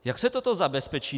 Jak se toto zabezpečí?